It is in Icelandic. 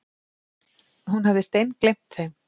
Hún hafði steingleymt þeim.